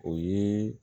O ye